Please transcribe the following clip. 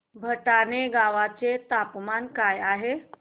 भटाणे गावाचे तापमान काय आहे